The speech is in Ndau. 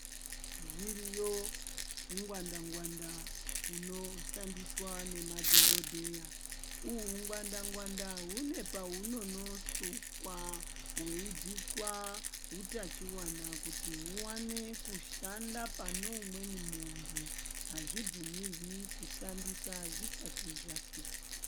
Zviriyo hungwanda ngwanda, huno shandiswa nema dhokodheya. Uhu hungwanda ngwanda hune pahunono sukwa, hweibviswa hutachiwana kuti huwane kushanda pane umweni muntu. Azvi bvumirwi kushandisa zvisati zvasukwa.